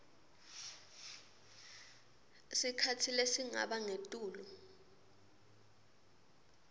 sikhatsi lesingaba ngetulu